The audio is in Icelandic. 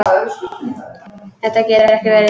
Þetta getur ekki verið.